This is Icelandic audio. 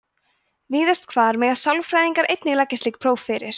víðast hvar mega sálfræðingar einir leggja slík próf fyrir